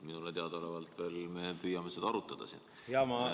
Minule teadaolevalt me veel püüame seda siin arutada.